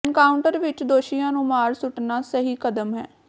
encounter ਵਿਚ ਦੋਸ਼ੀਆਂ ਨੂੰ ਮਾਰ ਸੁੱਟਣਾ ਸਹੀ ਕਦਮ ਹੈ